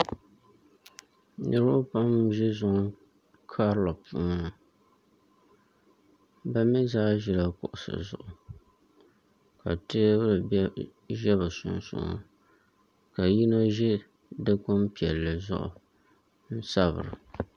Niraba pam n bɛ du karili puuni bi mii zaa ʒila kuɣusi zuɣu ka teebuli ʒɛ bi sunsuuni ka yino ʒi dikpuni piɛlli zuɣu n sabira